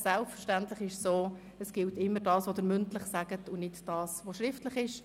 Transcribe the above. Selbstverständlich gilt immer das, was Sie hier mündlich sagen, nicht das, was Sie schriftlich abgeben.